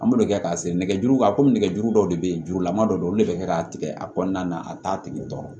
An b'o de kɛ k'a seri nɛgɛjuru kan komi nɛgɛjuru dɔw de be yen jurulama dɔ olu de be kɛ k'a tigɛ a kɔnɔna na a t'a tigɛ dɔrɔn